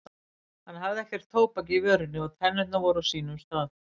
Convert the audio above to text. Hann hafði ekkert tóbak í vörinni og tennurnar voru á sínum stað.